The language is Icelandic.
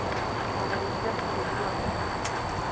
Það var í hlekkjuðu landi.